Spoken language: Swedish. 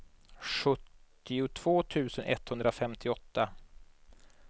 sjuttiotvå tusen etthundrafemtioåtta